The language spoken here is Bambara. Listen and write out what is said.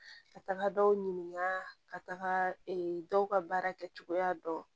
Ka taga dɔw ɲininka ka taga dɔw ka baara kɛcogoya dɔn